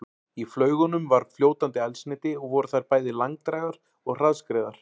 Í flaugunum var fljótandi eldsneyti og voru þær bæði langdrægar og hraðskreiðar.